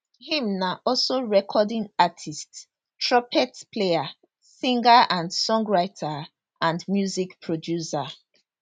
im na also recording artiste trumpet player singer and songwriter and music producer